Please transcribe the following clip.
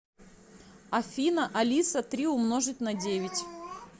афина алиса три умножить на девять